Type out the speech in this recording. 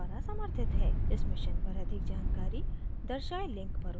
इस mission पर अधिक जानकारी दर्शाये link पर उपलब्ध है